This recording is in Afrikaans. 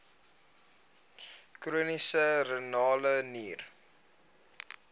chroniese renale nier